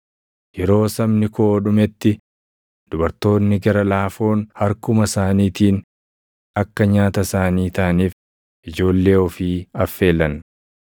Yeroo sabni koo dhumetti dubartoonni gara laafoon harkuma isaaniitiin akka nyaata isaanii taʼaniif ijoollee ofii affeelan.